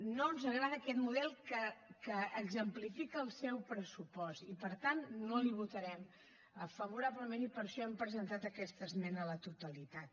no ens agrada aquest model que exemplifica el seu pressupost i per tant no l’hi votarem favorablement i per això hem presentat aquesta esmena a la totalitat